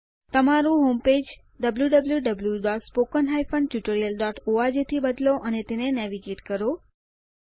તમારું home page wwwspoken tutorialorg થી બદલો અને તેને નેવિગેટ કરો